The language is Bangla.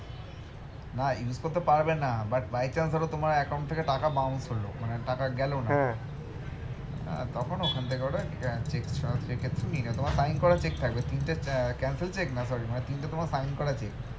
না use করতে পারবে না but by chance ধরো তোমার account থেকে টাকা bounce হলো মানে টাকা গেলো না আহ তখন ওখান থেকে ওরা cheque এর through নিয়ে নেয় তোমার bounce করা cheque টা আছে তিনটে cancelled cheque না sorry মানে তিনটে তোমার sign করা cheque